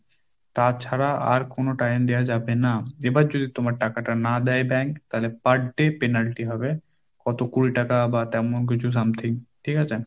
তাছাড়া আর কোনো time দেওয়া যাবে না, এবার যদি তোমার টাকাটা না দেয় bank তাহলে per day penalty হবে, কত কুড়ি টাকা বা তেমন কিছু something ঠিক আছে?